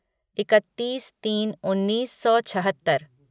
इकत्तीस तीन उन्नीस सौ छहत्तर